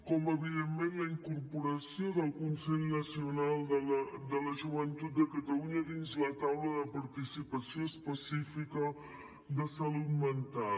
com evidentment la incorporació del consell nacional de la joventut de catalunya dins la taula de participació específica de salut mental